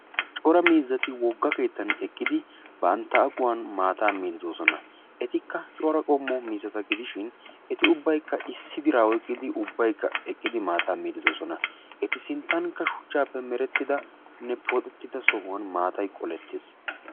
Cora miizzati wogga keettan eqqidi bantta aqquwan maataa miiddi de'oosona. Etikka cora qommo miizzata gidishin eti ubbaykka issi biraa oyqqidi eqqidi ubbaykka maataa miiddi de'oosona. Etu sinttankka shuchchaappe merettidanne pooxetida soohuwan maatay qolettees.